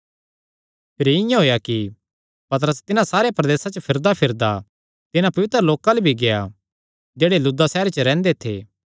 भिरी इआं होएया कि पतरस तिन्हां सारे प्रदेसां च फिरदाफिरदा तिन्हां पवित्र लोकां अल्ल भी गेआ जेह्ड़े लुद्दा सैहरे च रैंह्दे थे